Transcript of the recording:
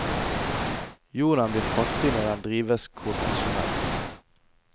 Jorden blir fattig når den drives konvensjonelt.